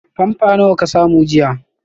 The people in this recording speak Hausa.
Pamper nawa ka samu jiya?